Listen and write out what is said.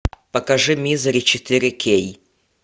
покажи мизери четыре кей